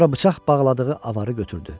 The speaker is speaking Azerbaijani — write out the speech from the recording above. Sonra bıçaq bağladığı avarı götürdü.